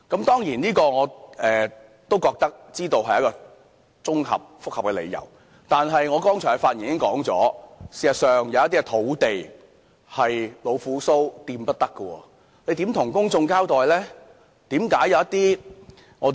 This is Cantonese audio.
當然，我知道這是一個複雜的問題，但正如我剛才發言時提到，事實上有一些土地是老虎鬚碰不得的，當局如何向公眾交代呢？